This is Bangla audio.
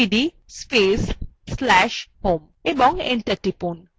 cd space/slash home এবং enter টিপুন